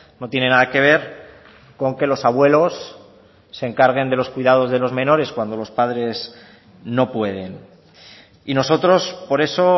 no tienen nada que ver con que los abuelos se encarguen de los cuidados de los menores cuando los padres no pueden y nosotros por eso